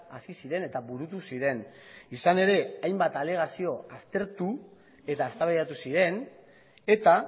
hasi ziren eta burutu ziren izan ere hainbat alegazio aztertu eta eztabaidatu ziren eta